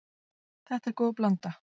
Þetta er góð blanda.